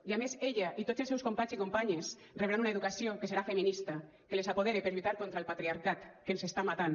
i a més ella i tots els seus companys i companyes rebran una educació que serà feminista que les apodere per lluitar contra el patriarcat que ens està matant